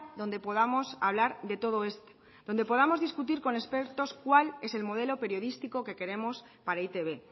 donde podamos hablar de todo esto donde podamos discutir con expertos cuál es el modelo periodístico que queremos para e i te be